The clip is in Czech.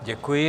Děkuji.